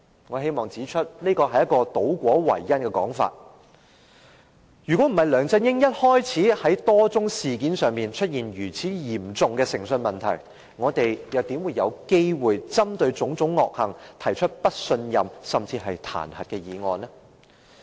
我希望指出，這是一個倒果為因的說法，如果不是梁振英一開始在多宗事件上出現嚴重的誠信問題，我們又怎會有機會針對其種種惡行，提出不信任、甚至是彈劾議案？